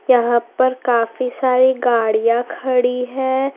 यहाँ पर काफी सारी गाड़ियाँ खड़ी हैं।